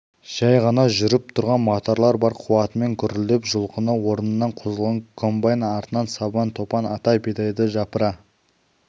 жай ғана жүріп тұрған моторлар бар қуатымен гүрілдеп жұлқына орнынан қозғалған комбайн артынан сабан топан ата бидайды жапыра